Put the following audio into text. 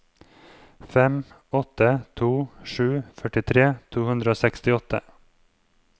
fem åtte to sju førtitre to hundre og sekstiåtte